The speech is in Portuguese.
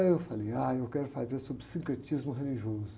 Aí eu falei, ai, eu quero fazer sobre sincretismo religioso.